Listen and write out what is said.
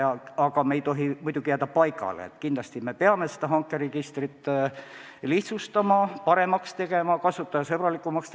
Aga muidugi ei tohiks me jääda paigale, kindlasti peame hankeregistrit lihtsustama ning tegema seda paremaks ja kasutajasõbralikumaks.